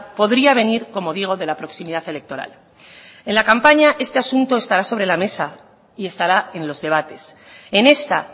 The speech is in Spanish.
podría venir como digo de la proximidad electoral en la campaña este asunto estará sobre la mesa y estará en los debates en esta